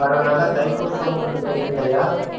வரதனால தைப்பூசமும் இன்னும் இருக்கு இல்லயா